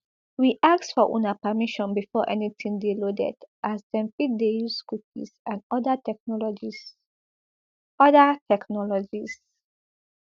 we ask for una permission before anytin dey loaded as dem fit dey use cookies and oda technologies oda technologies